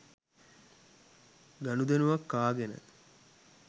ගනුදෙනුවක් කාගෙන.